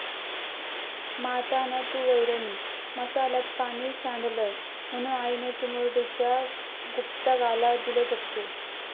माता न तू वैरणी, मसाल्यात पाणी सांडलं म्हणून आईने चिमुरडीच्या गुप्तांगाला दिले चटके